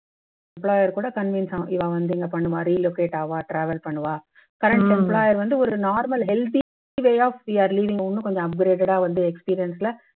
employer கூட convince ஆக இவா வந்து இங்க பண்ணுவா relocate ஆவா travel பண்ணுவா current employer வந்து ஒரு normal healthy way of leaving இன்னும் கொஞ்சம் upgraded ஆ வந்து experience ல